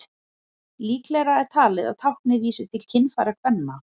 líklegra er talið að táknið vísi til kynfæra kvenna